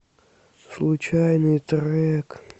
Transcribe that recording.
случайный трек